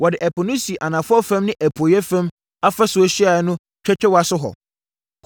Wɔde Ɛpo no sii anafoɔ fam ne apueeɛ fam afasuo ahyiaeɛ no twɛtwɛwa so hɔ.